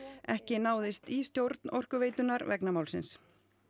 ekki náðist í stjórn Orkuveitunnar vegna málsins